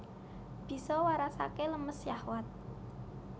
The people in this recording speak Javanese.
Bisa warasake lemes syahwat